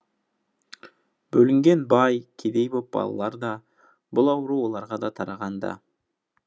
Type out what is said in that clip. бөлінген бай кедей боп балалар да бұл ауру оларға да тараған да